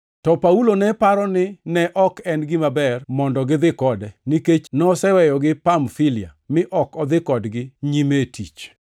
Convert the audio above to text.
to Paulo ne paro ni ne ok en gima ber mondo gidhi kode, nikech noseweyogi Pamfilia mi ok odhi kodgi nyime e tich.